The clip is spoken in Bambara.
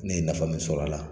Ne ye nafa min sɔr'a la